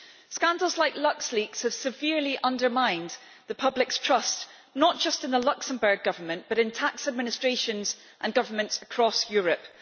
Scandals like LuxLeaks have severely undermined the public's trust, not just in the Luxembourg Government but in tax administrations and governments across Europe.